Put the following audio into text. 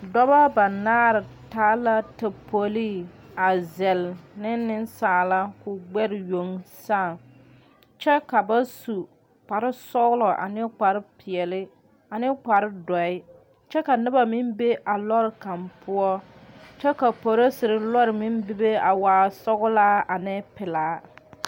Doɔba banaare taa la tapolii a zel ne nesaalaa ka o gbɛre yoŋ saaŋ kyɛ ka ba su kparo sɔglɔ ane kparo piɛle, ane kparo doɔe. Kyɛ ka noba meŋ be a lɔre kang poʊ. Kyɛ ka polisere lɔre meŋ bebe a waa sɔglaa ane pulaa